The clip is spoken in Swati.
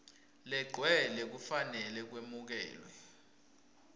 legcwele kufanele kwemukelwe